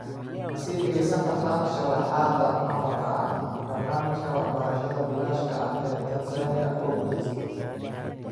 Ma sii dhageysan kartaan sharraxaadda maqalka ah, barnaamijka waxbarashada bilaashka ah ee Tansaaniya oo guulaystay?